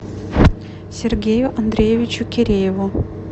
сергею андреевичу кирееву